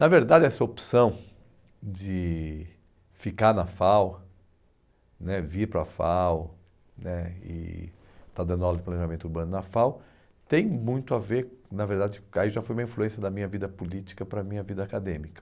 Na verdade, essa opção de ficar na FAU né, vir para a FAU né, e estar dando aula de planejamento urbano na FAU, tem muito a ver, na verdade, aí já foi uma influência da minha vida política para a minha vida acadêmica.